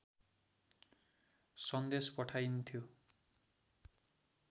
सन्देश पठाइन्थ्यो